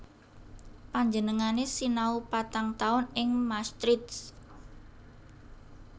Panjenengané sinau patang taun ing Maastricht